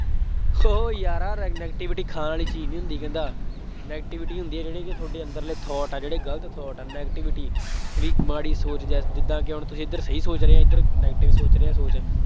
ਹੋ ਯਾਰਾ negativity ਖਾਣ ਵਾਲੀ ਚੀਜ਼ ਨਹੀਂ ਹੁੰਦੀ ਕਹਿੰਦਾ, negativity ਇਹ ਹੁੰਦੀ ਹੈ ਜਿਹੜੇ ਕਿ ਤੁਹਾਡੇ ਅੰਦਰਲੇ thought ਆ ਜਿਹੜੇ ਗਲਤ thought ਆ negativity ਬਈ ਮਾੜੀ ਸੋਚ guess ਜਿਦਾਂ ਕਿ ਹੁਣ ਤੁਸੀਂ ਇੱਧਰ ਸਹੀ ਸੋਚ ਰਹੇ ਹੋ, ਇੱਧਰ negative ਸੋਚ ਰਿਹਾ ਸੋਚ,